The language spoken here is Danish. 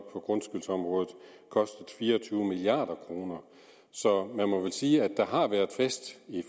på grundskyldsområdet kostet fire og tyve milliard kroner så man må vel sige at der har været fest i